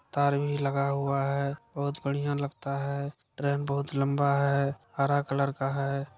तार भी लगा हुआ है बहुत बढ़िया लगता है ट्रेन बहुत लंबा है हरा कलर का है।